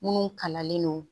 Minnu kalannen non